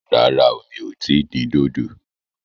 Rárá o, mi ò tí ì dín dòdò